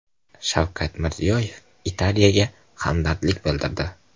Shavkat Mirziyoyev Italiyaga hamdardlik bildirdi.